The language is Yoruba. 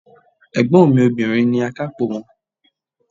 Ègbón mi Obìnrin ni akápò won